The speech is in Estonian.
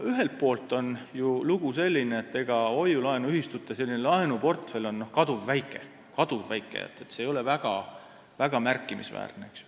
Ühelt poolt on lugu selline, et hoiu-laenuühistute laenuportfell on kaduvväike, see ei ole väga märkimisväärne.